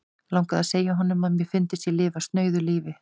Langaði að segja honum, að mér fyndist ég lifa snauðu lífi.